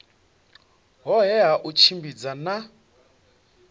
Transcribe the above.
hohe ha u tshimbidza na